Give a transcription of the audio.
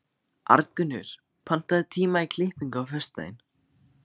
Arngunnur, pantaðu tíma í klippingu á föstudaginn.